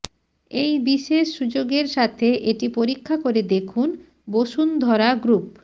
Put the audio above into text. এই বিশেষ সুযোগের সাথে এটি পরীক্ষা করে দেখুন বসুন্ধরা গ্রুপ